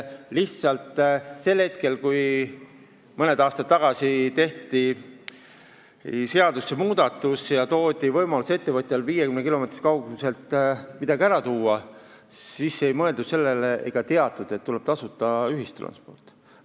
Lihtsalt sel hetkel, kui mõni aasta tagasi tehti seadusesse muudatus ja loodi ettevõtjale võimalus 50 kilomeetri kauguselt töötajaid tuua, siis ei mõeldud sellele ega teatud, et tuleb tasuta ühistransport.